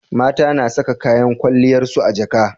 mata na Saka kayan kwaliyar su a jaka